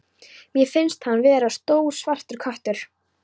Mér finnst hann vera stór svartur köttur.